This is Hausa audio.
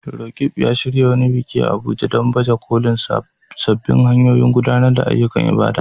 Roqeeb ya shirya wani biki a Abuja don baje kolin sabbin hanyoyin gudanar da ayyukan ibada.